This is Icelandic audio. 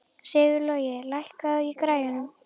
Sigurlogi, lækkaðu í græjunum.